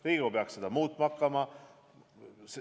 Riigikogu peaks seda muutma hakkama.